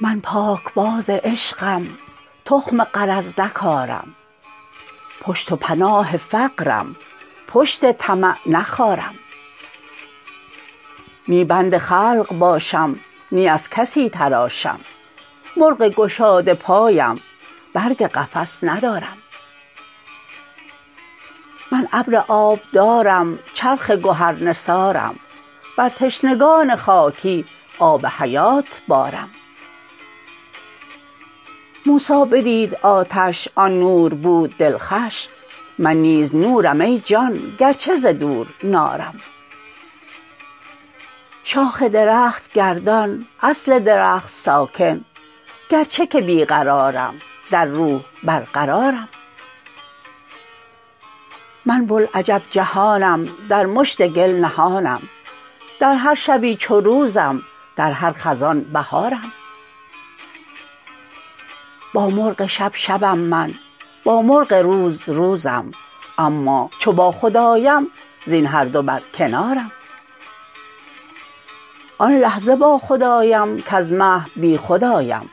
من پاکباز عشقم تخم غرض نکارم پشت و پناه فقرم پشت طمع نخارم نی بند خلق باشم نی از کسی تراشم مرغ گشاده پایم برگ قفس ندارم من ابر آب دارم چرخ گهرنثارم بر تشنگان خاکی آب حیات بارم موسی بدید آتش آن نور بود دلخوش من نیز نورم ای جان گرچه ز دور نارم شاخ درخت گردان اصل درخت ساکن گرچه که بی قرارم در روح برقرارم من بوالعجب جهانم در مشت گل نهانم در هر شبی چو روزم در هر خزان بهارم با مرغ شب شبم من با مرغ روز روزم اما چو باخود آیم زین هر دو برکنارم آن لحظه باخود آیم کز محو بیخود آیم